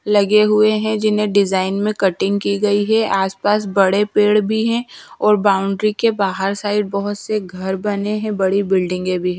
लगे हुए हैं जिन्हें डिजाइन में कटिंग की गई है आसपास बड़े पेड़ भी हैं और बाउंड्री के बाहर साइड बाहोत से घर बने हैं बड़ी बिल्डिंगें भी--